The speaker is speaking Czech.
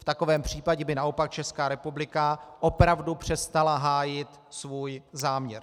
V takovém případě by naopak Česká republika opravdu přestala hájit svůj záměr.